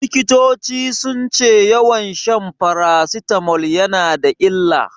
Likitoci sun ce yawan shan farasitamol yana da illa.